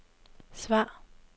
svar